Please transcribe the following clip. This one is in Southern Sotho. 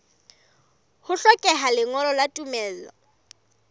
ho hlokeha lengolo la tumello